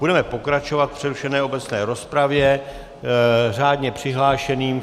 Budeme pokračovat v přerušené obecné rozpravě řádně přihlášeným.